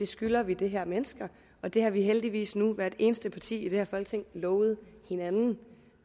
skylder vi de her mennesker og det har vi heldigvis nu hvert eneste parti i det her folketing lovet hinanden